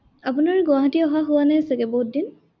আপোনাৰ গুৱাহাটী অহা হোৱা নাই চাগে, বহুত দিন